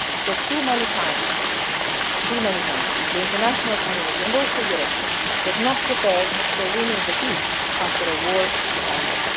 Because too many times too many times the international community, and also Europe, was not prepared for winning the peace after a war had